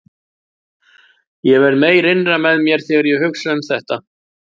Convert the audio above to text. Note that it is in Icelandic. Ég verð meyr innra með mér þegar ég hugsa um þetta.